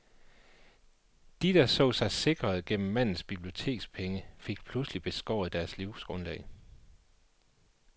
De, der så sig sikrede gennem mandens bibliotekspenge, fik pludselig beskåret deres livsgrundlag.